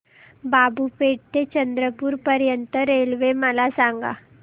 बाबूपेठ ते चंद्रपूर पर्यंत रेल्वे मला सांगा